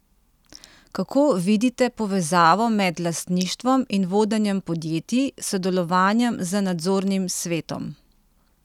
Kako vidite povezavo med lastništvom in vodenjem podjetij, sodelovanjem z nadzornim svetom?